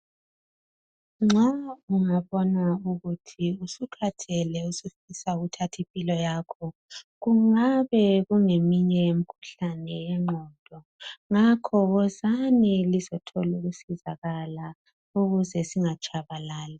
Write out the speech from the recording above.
Nxa ungabona ukuthi usukhathele, usufisa ukuthath' impilo yakho, kungabe kungomunye wemikhuhlane yengqondo. Ngakho, wozani lizothola ukusizakala ukuze singatshabalali.